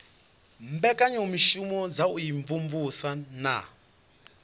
mbekanyamushumo dza u imvumvusa na